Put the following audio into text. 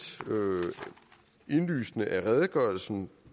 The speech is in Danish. indlysende af redegørelsen